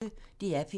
DR P1